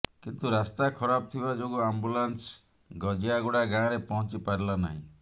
କିନ୍ତୁ ରାସ୍ତା ଖରାପ ଥିବା ଯୋଗୁଁ ଆମ୍ବୁଲାନସ ଗଜିଆଗୁଡା ଗାଁରେ ପହଞ୍ଚି ପାରିଲା ନାହିଁ